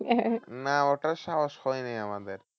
না ওটার সাহস হয়নি আমাদের।